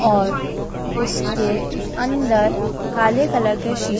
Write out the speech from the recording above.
और उसके अंदर काले कलर के शीशे--